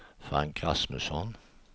Frank Rasmusson